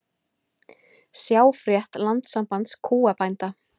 Sjá frétt Landssambands kúabænda